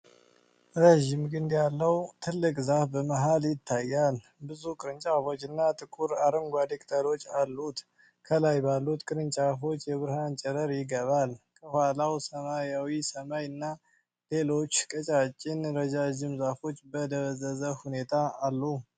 ረዥም ግንድ ያለው ትልቅ ዛፍ በመሃል ይታያል። ብዙ ቅርንጫፎችና ጥቁር አረንጓዴ ቅጠሎች አሉት፣ ከላይ ባሉት ቅርንጫፎች የብርሃን ጨረር ይገባል። ከኋላው ሰማያዊ ሰማይ እና ሌሎች ቀጫጭን ረዣዥም ዛፎች በደበዘዘ ሁኔታ አሉ።